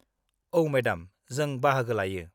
औ, मेडाम, जों बाहागो लायो।